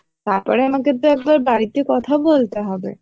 তারপরে আমাকে তো একবার বাড়িতে কথা বলতে হবে